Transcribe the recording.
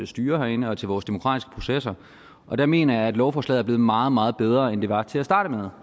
styre herinde og til vores demokratiske processer og der mener jeg at lovforslaget er blevet meget meget bedre end det var til at starte med